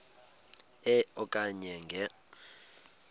e okanye nge